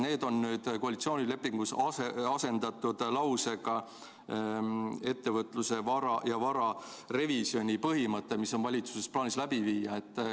Need on nüüd koalitsioonilepingus asendatud lausega, mis põhimõttel on valitsusel plaanis ettevõtluse ja vara revisjon läbi viia.